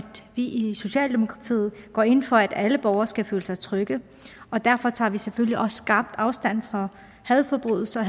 vi i socialdemokratiet går ind for at alle borgere skal føle sig trygge og derfor tager vi selvfølgelig også skarpt afstand fra hadforbrydelser